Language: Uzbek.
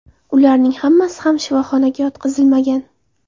Ularning hammasi ham shifoxonaga yotqizilmagan.